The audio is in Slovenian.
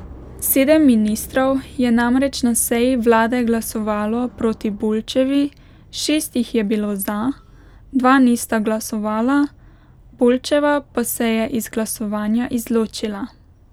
Sedem ministrov je namreč na seji vlade glasovalo proti Bulčevi, šest jih je bilo za, dva nista glasovala, Bulčeva pa se je iz glasovanja izločila.